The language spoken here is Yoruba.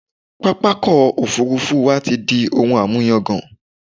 Pápákọ̀ òfurufú wa ti di ohun àmúyagàn.